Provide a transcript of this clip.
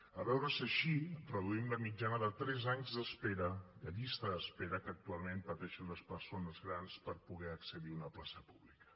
a veure si així reduïm la mitjana de tres anys d’espera de llista d’espera que actualment pateixen les persones grans per poder accedir a una plaça pública